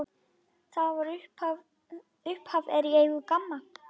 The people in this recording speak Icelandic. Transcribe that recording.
Upphaf er í eigu GAMMA.